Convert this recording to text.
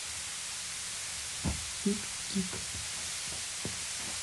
пик кик